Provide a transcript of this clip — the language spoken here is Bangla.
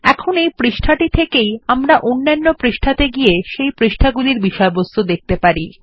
এখন এই পেজটি থেকেই আমরা অন্যান্য পেজ এ সেই পেজ গুলির বিষয়বস্তু দেখতে যেতে পারি